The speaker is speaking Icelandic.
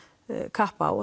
kapp á